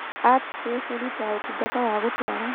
Artcafe ĩrutaga ũtungata wa gũtwara